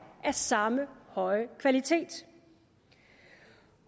af samme høje kvalitet